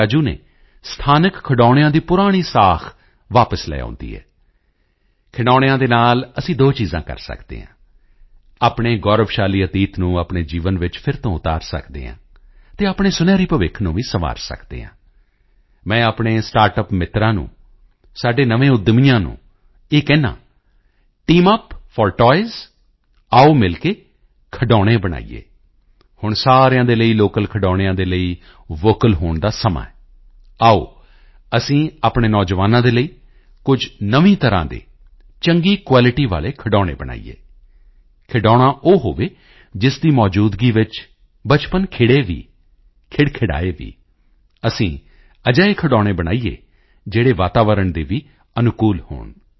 ਰਾਜੂ ਨੇ ਸਥਾਨਕ ਖਿਡੌਣਿਆਂ ਦੀ ਪੁਰਾਣੀ ਸਾਖ਼ ਵਾਪਸ ਲੈ ਆਉਦੀ ਹੈ ਖਿਡੌਣਿਆਂ ਦੇ ਨਾਲ ਅਸੀਂ ਦੋ ਚੀਜ਼ਾਂ ਕਰ ਸਕਦੇ ਹਾਂ ਆਪਣੇ ਗੌਰਵਸ਼ਾਲੀ ਅਤੀਤ ਨੂੰ ਆਪਣੇ ਜੀਵਨ ਵਿੱਚ ਫਿਰ ਤੋਂ ਉਤਾਰ ਸਕਦੇ ਹਾਂ ਅਤੇ ਆਪਣੇ ਸੁਨਹਿਰੀ ਭਵਿੱਖ ਨੂੰ ਵੀ ਸੰਵਾਰ ਸਕਦੇ ਹਾਂ ਮੈਂ ਆਪਣੇ ਸਟਾਰਟਅਪ ਮਿੱਤਰਾਂ ਨੂੰ ਸਾਡੇ ਨਵੇਂ ਉੱਦਮੀਆਂ ਨੂੰ ਕਹਿੰਦਾ ਹਾਂ ਟੀਮ ਯੂਪੀ ਫੋਰ ਟਾਇਜ਼ ਆਓ ਮਿਲ ਕੇ ਖਿਡੌਣੇ ਬਣਾਈਏ ਹੁਣ ਸਾਰਿਆਂ ਦੇ ਲਈ ਲੋਕਲ ਖਿਡੌਣਿਆਂ ਦੇ ਲਈ ਵੋਕਲ ਹੋਣ ਦਾ ਸਮਾਂ ਹੈ ਆਓ ਅਸੀਂ ਆਪਣੇ ਨੌਜਵਾਨਾਂ ਦੇ ਲਈ ਕੁਝ ਨਵੀਂ ਤਰ੍ਹਾਂ ਦੇ ਚੰਗੀ ਕੁਆਲਿਟੀ ਵਾਲੇ ਖਿਡੌਣੇ ਬਣਾਈਏ ਖਿਡੌਣਾ ਉਹ ਹੋਵੇ ਜਿਸ ਦੀ ਮੌਜੂਦਗੀ ਵਿੱਚ ਬਚਪਨ ਖਿੜੇ ਵੀ ਖ਼ਿੜਖਿੜਾਏ ਵੀ ਅਸੀਂ ਅਜਿਹੇ ਖਿਡੌਣੇ ਬਣਾਈਏ ਜਿਹੜੇ ਵਾਤਾਵਰਣ ਦੇ ਵੀ ਅਨੁਕੂਲ ਹੋਣ